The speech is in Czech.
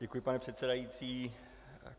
Děkuji, pane předsedající.